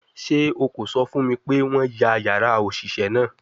Ṣe o ko sọ fun mi pe wọn ya yara oṣiṣẹ naa?